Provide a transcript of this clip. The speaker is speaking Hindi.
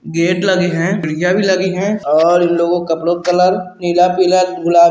गेट लगे हैं और खिड़कियां भी लगी है लोगों का कपड़ों का कलर नीला पीला गुला --